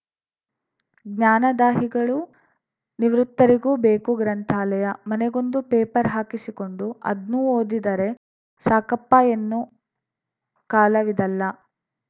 ಜ್ಞಾನದಾಹಿಗಳು ನಿವೃತ್ತರಿಗೂ ಬೇಕು ಗ್ರಂಥಾಲಯ ಮನೆಗೊಂದು ಪೇಪರ್‌ ಹಾಕಿಸಿಕೊಂಡು ಆದ್ನು ಓದಿದರೆ ಸಾಕಪ್ಪ ಎನ್ನು ಕಾಲವಿದಲ್ಲ